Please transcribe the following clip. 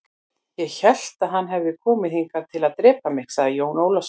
Ég hélt að hann hefði komið hingað til að drepa mig, sagði Jón Ólafur.